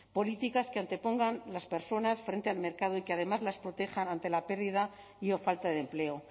políticas que antepongan las personas frente al mercado y que además las protejan ante la pérdida y o falta de empleo